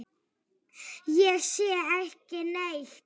Ég sé ekki neitt.